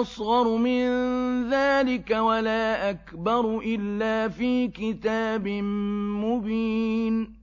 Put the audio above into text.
أَصْغَرُ مِن ذَٰلِكَ وَلَا أَكْبَرُ إِلَّا فِي كِتَابٍ مُّبِينٍ